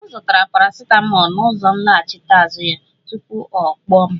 Ọ zụtara paracetamol na ụzọ nlachite azụ ya, tupu ọ kpọọ m